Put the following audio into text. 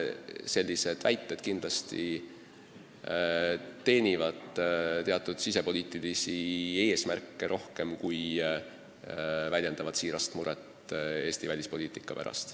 Sellised väited kindlasti teenivad rohkem teatud sisepoliitilisi eesmärke, kui väljendavad siirast muret Eesti välispoliitika pärast.